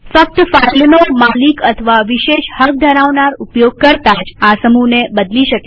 ફક્ત ફાઈલનો માલિક અથવા વિશેષ હક ધરાવનાર ઉપયોગકર્તા જ આ સમૂહને બદલી શકે છે